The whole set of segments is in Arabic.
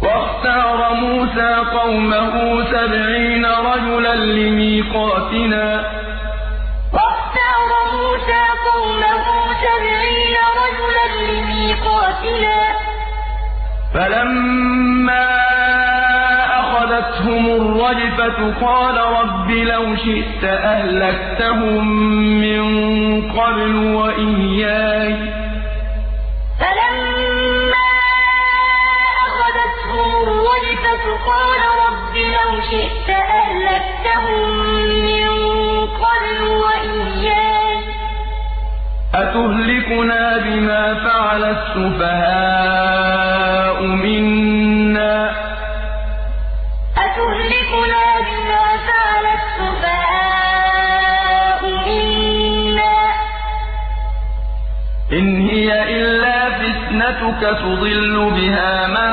وَاخْتَارَ مُوسَىٰ قَوْمَهُ سَبْعِينَ رَجُلًا لِّمِيقَاتِنَا ۖ فَلَمَّا أَخَذَتْهُمُ الرَّجْفَةُ قَالَ رَبِّ لَوْ شِئْتَ أَهْلَكْتَهُم مِّن قَبْلُ وَإِيَّايَ ۖ أَتُهْلِكُنَا بِمَا فَعَلَ السُّفَهَاءُ مِنَّا ۖ إِنْ هِيَ إِلَّا فِتْنَتُكَ تُضِلُّ بِهَا مَن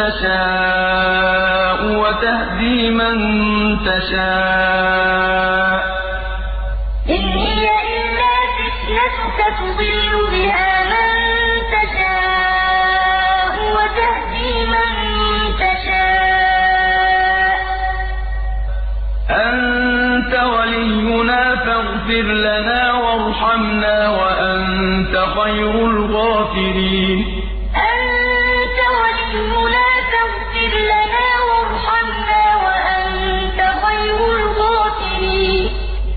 تَشَاءُ وَتَهْدِي مَن تَشَاءُ ۖ أَنتَ وَلِيُّنَا فَاغْفِرْ لَنَا وَارْحَمْنَا ۖ وَأَنتَ خَيْرُ الْغَافِرِينَ وَاخْتَارَ مُوسَىٰ قَوْمَهُ سَبْعِينَ رَجُلًا لِّمِيقَاتِنَا ۖ فَلَمَّا أَخَذَتْهُمُ الرَّجْفَةُ قَالَ رَبِّ لَوْ شِئْتَ أَهْلَكْتَهُم مِّن قَبْلُ وَإِيَّايَ ۖ أَتُهْلِكُنَا بِمَا فَعَلَ السُّفَهَاءُ مِنَّا ۖ إِنْ هِيَ إِلَّا فِتْنَتُكَ تُضِلُّ بِهَا مَن تَشَاءُ وَتَهْدِي مَن تَشَاءُ ۖ أَنتَ وَلِيُّنَا فَاغْفِرْ لَنَا وَارْحَمْنَا ۖ وَأَنتَ خَيْرُ الْغَافِرِينَ